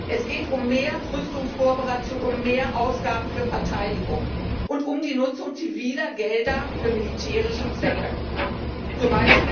Es geht um mehr Rüstungskooperation, um mehr Ausgaben für Verteidigung und um die Nutzung ziviler Gelder für militärische Zwecke, z.